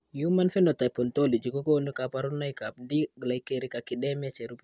Human Phenotype Ontology kokonu kabarunoikab D glycericacidemia cherube.